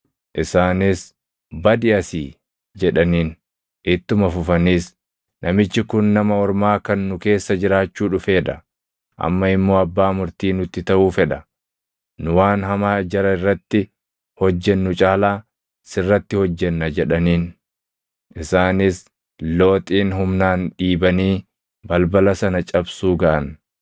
Isaanis, “Badi asii!” jedhaniin. Ittuma fufaniis, “Namichi kun nama ormaa kan nu keessa jiraachuu dhufee dha; amma immoo abbaa murtii nutti taʼuu fedha! Nu waan hamaa jara irratti hojjennu caalaa sirratti hojjenna” jedhaniin. Isaanis Looxin humnaan dhiibanii balbala sana cabsuu gaʼan.